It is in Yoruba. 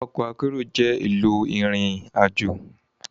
Òkò àkèéró jè óoùn éló irin àjó